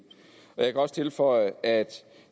jeg kan også tilføje at